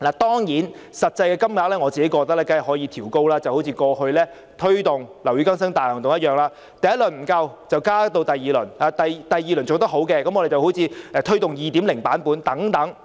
當然，我認為實際金額可以調高，好像過去推動"樓宇更新大行動"一樣，第一輪不足夠的話，便加推第二輪；如果第二輪做得好，就推行"樓宇更新大行動 2.0" 等。